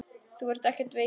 Þú ert ekkert veikur.